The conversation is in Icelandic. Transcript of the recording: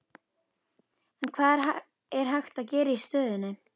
En hvað er hægt að gera í stöðunni?